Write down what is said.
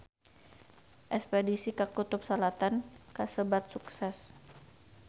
Espedisi ka Kutub Selatan kasebat sukses